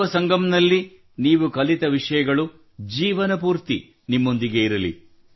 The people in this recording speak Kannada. ಯುವ ಸಂಗಮ್ ನಲ್ಲಿ ನೀವು ಕಲಿತ ವಿಷಯಗಳು ಜೀವನಪೂರ್ತಿ ನಿಮ್ಮೊಂದಿಗೆ ಇರಲಿ